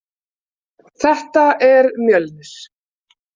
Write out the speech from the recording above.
Þetta er Mjölnir.